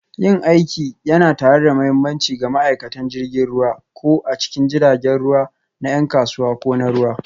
Yin aiki tare yana da mahimmanci ga ma'aikatan jirgin ruwa, ko a cikin jiragen ruwa na 'yan kasuwa ko na ruwa,